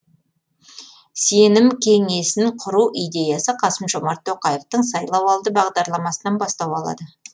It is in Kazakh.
сенім кеңесін құру идеясы қасым жомарт тоқаевтың сайлауалды бағдарламасынан бастау алады